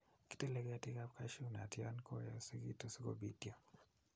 Kitile ketikab cashew nut yon koyosekitu sikobitio